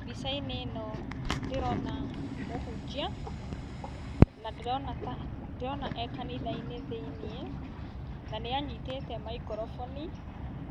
Mbica-inĩ ĩno ndĩrona mũhunjia na ndĩrona ta ndĩrona e kanitha-inĩ thĩiniĩ na nĩanyitĩte microphone